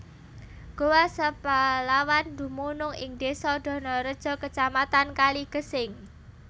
Goa Seplawan dumunung ing désa Donorejo Kacamatan Kaligesing